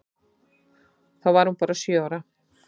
Þá var hún bara sjö ára.